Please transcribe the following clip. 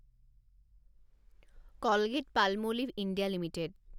Colgate Palmolive India limited